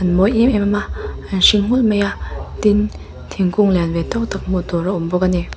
an mawi em em a an hring nghulh mai a tin thingkung lian ve tawk tak hmuh tur a awm bawk a ni.